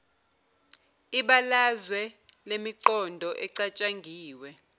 ibalazwe lemiqondo ecatshangiwe